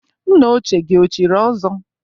Nna ochie gị o chiri ọzọ?